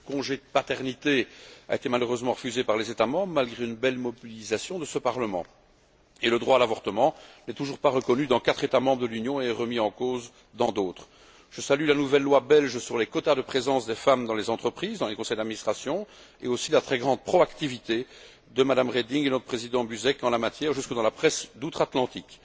Le congé de paternité a été malheureusement refusé par les États membres malgré une belle mobilisation de ce Parlement et le droit à l'avortement n'est toujours pas reconnu dans quatre États membres de l'Union et remis en cause dans d'autres. Je salue la nouvelle loi belge sur les quotas de présence des femmes dans les entreprises et les conseils d'administration, ainsi que la très grande proactivité de Mme Reding et de notre Président Buzek en la matière jusque dans la presse d'outre Atlantique.